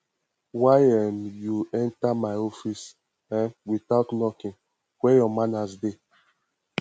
why um you enter my office um without knocking where your manners dey